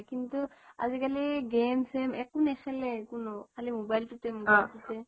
কিন্তু আজি কালি game চেম একো নেখেলে কোনো খালি মোবাইলটোতে মোবাইলটোতে